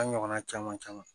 An ɲɔgɔnna caman caman